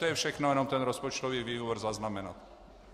To je všechno, jenom ten rozpočtový výbor zaznamenat.